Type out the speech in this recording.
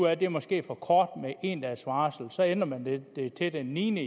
at det måske er for kort med en dags varsel og så ændrer man det til den niende